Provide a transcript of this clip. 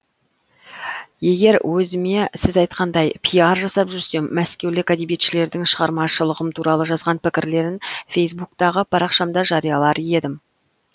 егер өзіме сіз айтқандай пиар жасап жүрсем мәскеулік әдебиетшілердің шығармашылығым туралы жазған пікірлерін фейсбуктағы парақшамда жариялар едім